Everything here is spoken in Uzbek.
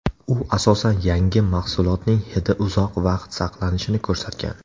U asosan yangi mahsulotning hidi uzoq vaqt saqlanishini ko‘rsatgan.